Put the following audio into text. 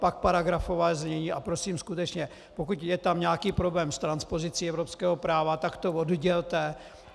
Pak paragrafové znění, a prosím skutečně, pokud je tam nějaký problém s transpozicí evropského práva, tak to oddělte.